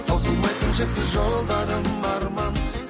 таусылмайтын шексіз жолдарым арман